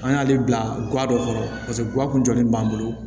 An y'ale bila ga dɔ kɔrɔ paseke ga kun jɔlen b'an bolo